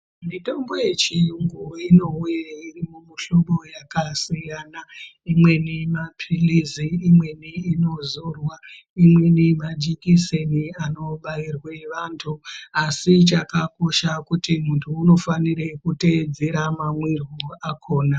Mitombo yechiyungu inowe iri mumihlobo yakasiyana imweni mapilizi imweni inozorwa imweni majikiseni anobairwe vantu asi chakakosha kuti muntu unofanire kuteedzera mamwiryo akhona.